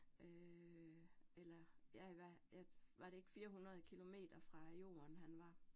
Øh eller ja, hvad ja var det ikke 400 kilometer fra jorden, han var